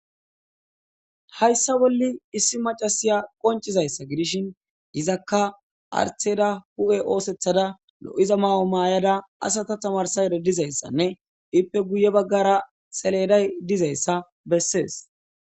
hayssa bolli issi macasiya qoncizayssa gidishin izakka artheda hu7e oosethada lo7iza ma7o maayada asata tamarsa ededizayssanne ippe guye baggara seleday dizayssa bessees